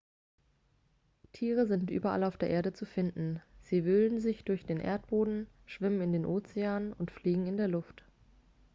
tiere sind überall auf der erde zu finden sie wühlen sich durch den erdboden schwimmen in den ozeanen und fliegen in der luft